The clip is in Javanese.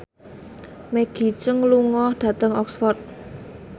Maggie Cheung lunga dhateng Oxford